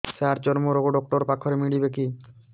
ସାର ଚର୍ମରୋଗ ଡକ୍ଟର ପାଖରେ ମିଳିବେ କି